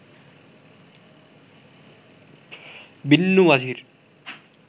বিন্নু মাঝির